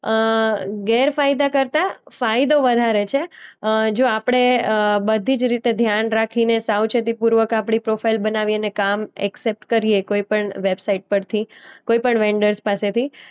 અ ગેરફાયદા કરતા ફાયદો વધારે છે. અ જો આપણે અ બધી જ રીતે ધ્યાન રાખીને સાવચેતીપૂર્વક આપણી પ્રોફાઈલ બનાવીએ ને કામ એક્સેપટ કરીએ કોઈ પણ વેબસાઈટ પરથી, કોઈ પણ વેન્ડર્સ પાસેથી